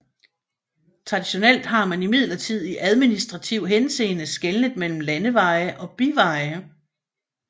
Traditionelt har man imidlertid i administrativ henseende skelnet mellem landeveje og biveje